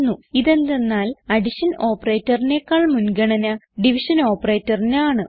ഇതെന്തന്നാൽ addition operatorനെക്കാൾ മുൻഗണന division operatorന് ആണ്